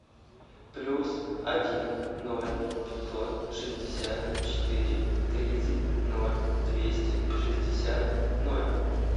плюс один ноль пятьсот шестьдесят четыре тридцать ноль двести шестьдесят ноль